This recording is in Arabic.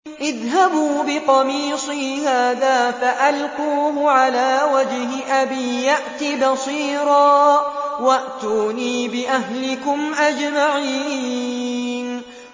اذْهَبُوا بِقَمِيصِي هَٰذَا فَأَلْقُوهُ عَلَىٰ وَجْهِ أَبِي يَأْتِ بَصِيرًا وَأْتُونِي بِأَهْلِكُمْ أَجْمَعِينَ